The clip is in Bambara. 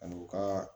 Ani u ka